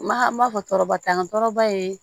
Ma an b'a fɔ tɔɔrɔba t'an tɔɔrɔba ye